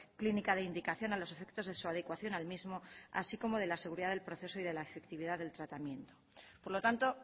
clínica de indicación a los efectos de su adecuación al mismo así como de la seguridad del proceso y de la efectividad del tratamiento por lo tanto